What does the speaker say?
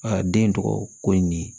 den tɔgɔ ko in ne ye